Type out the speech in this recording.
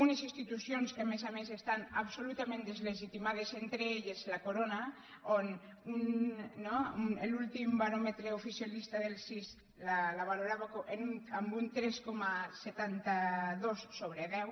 unes institucions que a més a més estan absolutament deslegitimades entre elles la corona que l’últim baròmetre oficialista del cis la valorava amb un tres coma setanta dos sobre deu